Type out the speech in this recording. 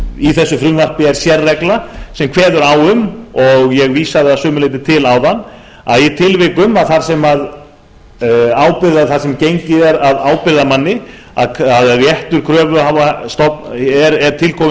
í þessu frumvarpi er sérregla sem kveður á um og ég vísaði að sumu leyti til áðan að í tilvikum þar sem gengið er að ábyrgðarmanni að réttur kröfuhafa er til kominn